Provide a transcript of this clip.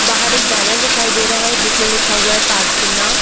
बाहर एक बैनर दिखाई दे रहा है जिसमे लिखा हुआ है पटना।